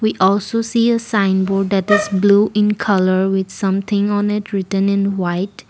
also see a sign board that is blue in colour with something on it written in white.